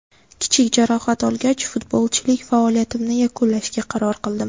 Kichik jarohat olgach, futbolchilik faoliyatimni yakunlashga qaror qildim.